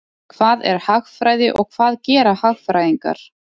Hvað er hagfræði og hvað gera hagfræðingar?